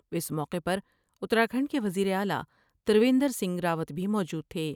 اس موقع پر اتراکھنڈ کے وزیر اعلی تر و بیندرسنگھ راوت بھی موجود تھے۔